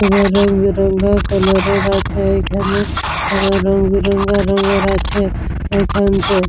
এবার রংবেরঙা কালার -এর আছে ওইখানে আর রংবেরঙা রঙের আছে ওইখানেতে।